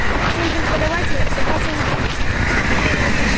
всем преподавателям собраться в учительской